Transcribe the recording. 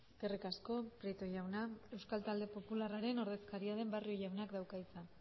eskerrik asko prieto jauna euskal talde popularraren ordezkaria den barrio jaunak dauka hitza